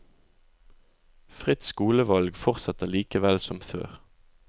Fritt skolevalg fortsetter likevel som før.